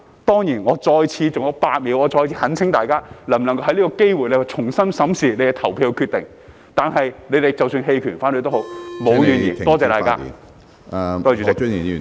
當然，我再次——還有8秒——懇請大家，能否藉此機會重新審視你的投票決定，但你們即使投棄權或反對票，我也沒有怨言......